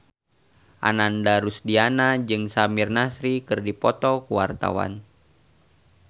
Ananda Rusdiana jeung Samir Nasri keur dipoto ku wartawan